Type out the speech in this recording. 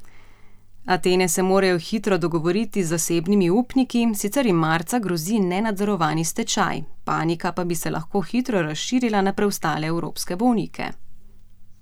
Atene se morajo hitro dogovoriti z zasebnimi upniki, sicer jim marca grozi nenadzorovani stečaj, panika pa bi se lahko hitro razširila na preostale evropske bolnike.